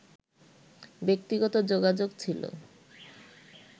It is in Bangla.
ব্যক্তিগত যোগাযোগ ছিল